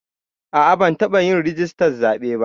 A'a ban taɓa yin rijistar zaɓe ba